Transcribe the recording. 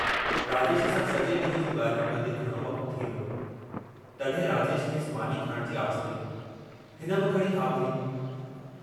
राजेश सां सजे डींहं जूं गाल्हियूं कंदे घणो वक्तु थी वियो, तड्हिं राजेश खेसि मानी खाइण जी आछ कई, हिन बि खणी हा भरी।